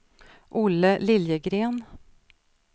Olle Liljegren